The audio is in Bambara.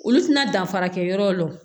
Olu tɛna danfara kɛ yɔrɔw la wo